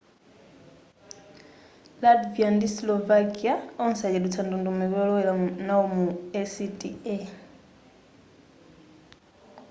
latvia ndi slovakia onse achedwetsa ndondomeko yolowera nawo mu acta